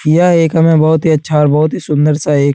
यह एक हमें बहोत ही अच्छा और बहोत ही सुन्दर-सा एक --